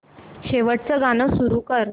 शेवटचं गाणं सुरू कर